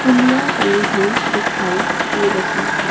पुलिया बनी हुई दिखाई दे रही है।